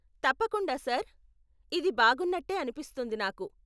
తప్పకుండా, సర్, ఇది బాగున్నట్టే అనిపిస్తుంది నాకు.